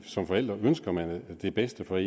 som forældre ønsker man det bedste for